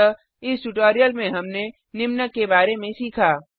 अतः इस ट्यूटोरियल में हमने निम्न के बारे में सीखा